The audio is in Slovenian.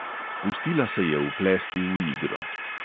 Pustila se je vplesti v igro.